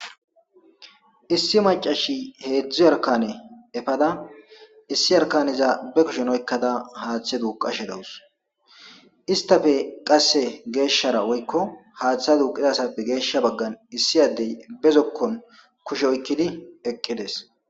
issi macashi heedzdzu arkane efada issi arkaniza be kushen oykkada haaththe duuqashe dawus istafe qasse geeshshara oykko haaththe duuqidasappe geeshsha baggan issi addey bezokkon kushe oykkidi ekkides